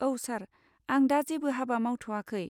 औ सार, आं दा जेबो हाबा मावथ'याखै।